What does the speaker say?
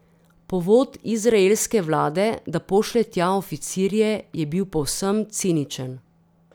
Povod izraelske vlade, da pošlje tja oficirje, je bil povsem ciničen.